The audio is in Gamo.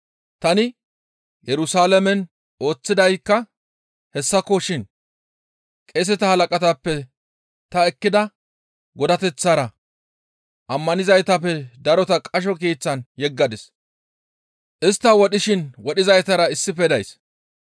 tani Yerusalaamen ooththidaykka hessakoshin; qeeseta halaqatappe ta ekkida godateththara ammanizaytappe darota qasho keeththan yegisadis; istta wodhishin wodhizaytara issife days.